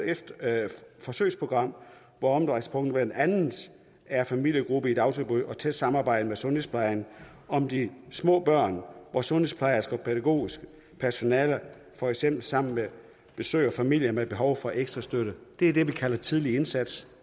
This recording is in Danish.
forsøgsprogram hvor omdrejningspunktet blandt andet er familiegrupper i dagtilbud og tæt samarbejde med sundhedsplejen om de små børn hvor sundhedsplejersker og pædagogisk personale for eksempel sammen besøger familier med behov for ekstra støtte det er det vi kalder tidlig indsats